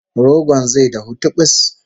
Rogon zai dahu tibis!